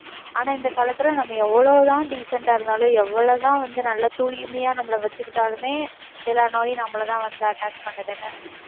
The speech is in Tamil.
ஆனா, இந்த காலத்துல நம்ம எவ்வளவு தான் decent ஆ இருந்தாலும் எவ்வளவு தான் வந்து நல்ல தூய்மையா நம்மள வச்சுக்கிட்டாலுமே எல்லா நோயும் நம்மள தான் வந்து attack பண்ணுதுன்னு என்ன